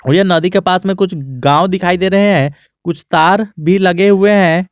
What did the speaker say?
ये नदी के पास में कुछ गांव दिखाई दे रहे हैं कुछ तार भी लगे हुए हैं।